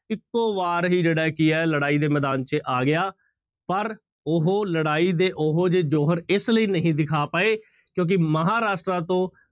ਇੱਕੋ ਵਾਰ ਹੀ ਜਿਹੜਾ ਕੀ ਹੈ ਲੜਾਈ ਦੇ ਮੈਦਾਨ ਚ ਆ ਗਿਆ ਪਰ ਉਹ ਲੜਾਈ ਦੇ ਉਹ ਜਿਹੇ ਜੋਹਰ ਇਸ ਲਈ ਨਹੀਂ ਦਿਖਾ ਪਾਏ ਕਿਉਂਕਿ ਮਹਾਂਰਾਸ਼ਟਰ ਤੋਂ